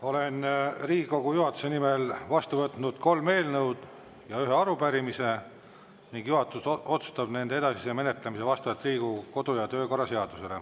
Olen Riigikogu juhatuse nimel vastu võtnud kolm eelnõu ja ühe arupärimise ning juhatus otsustab nende edasise menetlemise vastavalt Riigikogu kodu‑ ja töökorra seadusele.